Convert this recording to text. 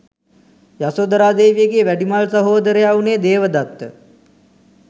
යසෝදරා දේවියගේ වැඩිමහල් සහෝදරයා වුනේ දේවදත්ත.